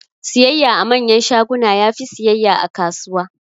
Siyayya a manyan shaguna yafi siyayya a kasuwa